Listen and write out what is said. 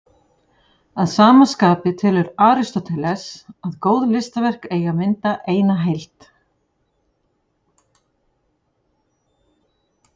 Að sama skapi telur Aristóteles að góð listaverk eigi að mynda eina heild.